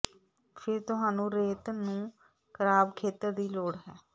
ਫਿਰ ਤੁਹਾਨੂੰ ਰੇਤ ਨੂੰ ਖਰਾਬ ਖੇਤਰ ਦੀ ਲੋੜ ਹੈ